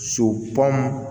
So